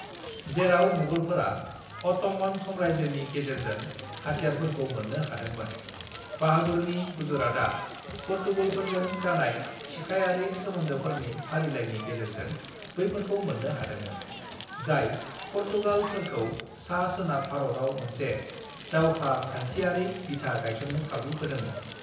"जेराव मुगलफोरा अट'मन साम्रायजोनि गेजेरजों हाथियारफोरखौ मोन्नो हादोंमोन, बाहादुरनि गुजरातआ पुर्तगालिफोरजों जानाय थिखायारि सोमोन्दोफोरनि फारिलायनि गेजेरजों बैफोरखौ मोन्नो हादोंमोन, जाय पुर्तगालिफोरखौ सा-सोनाब भारतआव मोनसे दावहाखान्थियारि बिथा गायसन्नो खाबु होदोंमोन।"